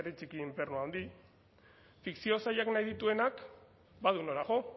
dbh herri txiki infernu handi fikzio saioak dituenak badu nora jo